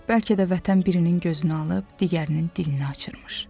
Bəlkə də vətən birinin gözünü alıb, digərinin dilini açırmış.